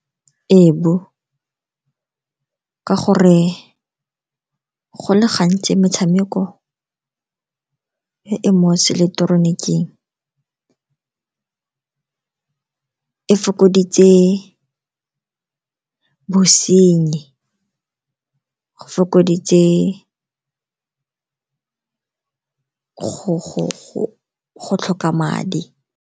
ka gore go le gantsi metshameko e e mo seileketoroniking e fokoditse bosenyi, go fokoditse go tlhoka madi.